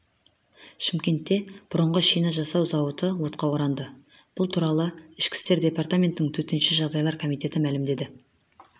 шымкентте бұрынғы шина жасау зауыты отқа оранды бұл туралы ішкі істер департаментінің төтенше жағдайлар комитеті мәлімдеді